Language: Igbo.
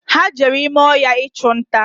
Ha jere ime ọhịa ichunta